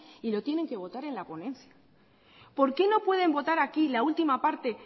y lo tienen que votar en la ponencia por qué no pueden votar aquí la última parte